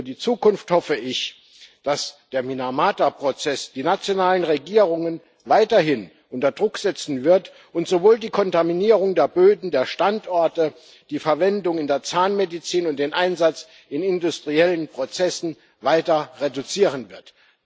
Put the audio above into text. Für die Zukunft hoffe ich, dass der Minamata Prozess die nationalen Regierungen weiterhin unter Druck setzen wird und sowohl die Kontaminierung der Böden, der Standorte, als auch die Verwendung in der Zahnmedizin und den Einsatz in industriellen Prozessen weiter reduzieren wird.